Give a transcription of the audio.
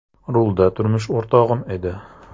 Rulda turmush o‘rtog‘im edi.